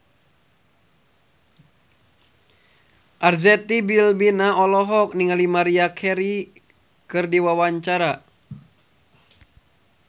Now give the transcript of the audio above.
Arzetti Bilbina olohok ningali Maria Carey keur diwawancara